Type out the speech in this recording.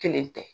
Kelen tɛ